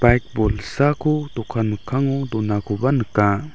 baik bolsako dokan mikkango donakoba nika.